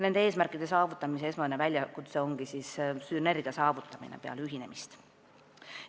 Nende eesmärkide saavutamisel on esmane väljakutse sünergia saavutamine peale ühinemist.